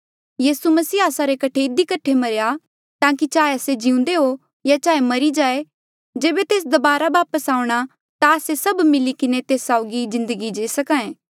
यीसू मसीह आस्सा रे कठे इधी कठे मरेया ताकि चाहे आस्से जिउंदे हो या चाहे मरी जाए जेबे तेस दबारा वापस आऊंणा ता आस्से सभ मिली किन्हें तेस साउगी जिन्दगी जी सके